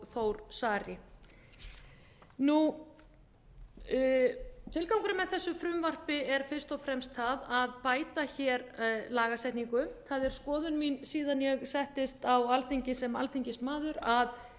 þór saari tilgangurinn með þessu frumvarpi er fyrst og fremst sá að bæta hér lagasetningu það er skoðun mín síðan ég settist á alþingi sem alþingismaður að